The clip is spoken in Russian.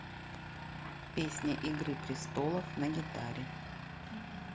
песня игры престолов на гитаре